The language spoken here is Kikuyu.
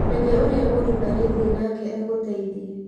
reke ũrĩa mũhikanĩtie nake agũteithie.